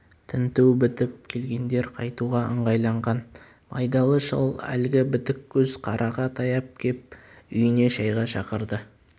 тінту бітіп келгендер қайтуға ыңғайланған байдалы шал әлгі бітік көз қараға таяп кеп үйіне шайға шақырды